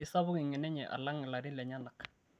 keisapuk engeno enye alang ilarin lenyenak